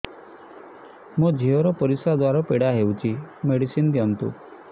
ମୋ ଝିଅ ର ପରିସ୍ରା ଦ୍ଵାର ପୀଡା ହଉଚି ମେଡିସିନ ଦିଅନ୍ତୁ